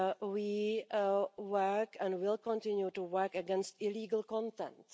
We work and will continue to work against illegal content.